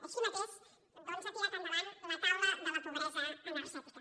així mateix ha tirat endavant la taula de la pobresa energètica